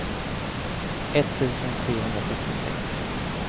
etttusen trehundrasjuttiosex